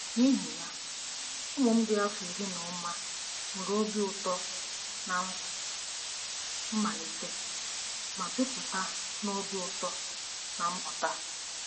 N'ihi ya, ụmụ m dị afọ iri na ụma nwere obi ụtọ ná mmalite ma jupụta na obi ụtọ na mmụta.